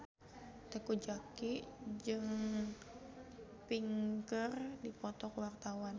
Teuku Zacky jeung Pink keur dipoto ku wartawan